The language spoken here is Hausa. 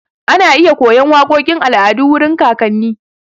Ana iya koyan waƙoƙin al'adu wurin kakanni.